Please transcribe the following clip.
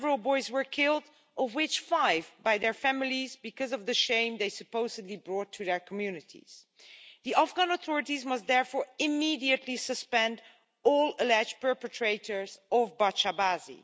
Several boys were killed, of which five by their families because of the shame they supposedly brought to their communities. The Afghan authorities must therefore immediately suspend all alleged perpetrators of bacha bazi